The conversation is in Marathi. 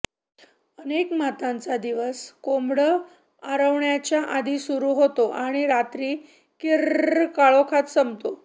अनेक मातांचा दिवस कोंबडं आरवण्याच्या आधी सुरू होतो आणि रात्रीच्या किर्र्रर्र काळोखात संपतो